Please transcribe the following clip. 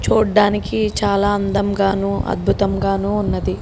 చూడడానికి చాలా అందంగానూ అద్భుతం గను ఉన్నది.